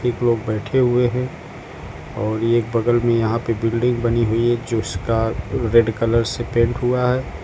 कुछ लोग बैठे हुए हैं और एक बगल में यहां पे बिल्डिंग बनी हुई है जिसका रेड कलर से पेंट हुआ है।